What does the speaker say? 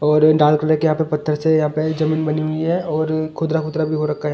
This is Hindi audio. और डाल कर के यहां पे पत्थर से यहां पे जमीन बनी हुई है और खुदरा-खुदरा भी हो रखा है।